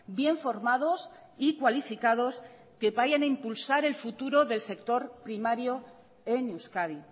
bien formados y cualificados que vayan a impulsar el futuro del sector primario en euskadi